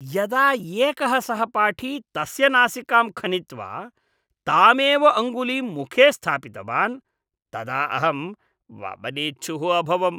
यदा एकः सहपाठी तस्य नासिकां खनित्वा तामेव अङ्गुलीं मुखे स्थापितवान् तदा अहं वमनेच्छुः अभवम्।